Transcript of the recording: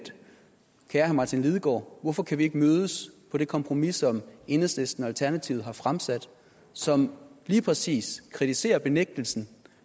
kære herre martin lidegaard hvorfor kan vi ikke mødes om det kompromis som enhedslisten og alternativet har fremsat og som lige præcis kritiserer benægtelsen